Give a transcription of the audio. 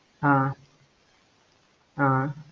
அஹ் அஹ்